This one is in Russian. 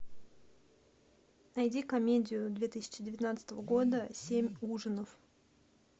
найди комедию две тысячи девятнадцатого года семь ужинов